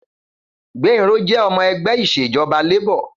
Gbénró jẹ́ ọmọ ẹgbẹ́ Ìṣèjọ́ba Labour.